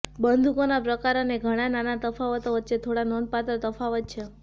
બંદૂકોના પ્રકાર અને ઘણાં નાના તફાવતો વચ્ચે થોડા નોંધપાત્ર તફાવત છે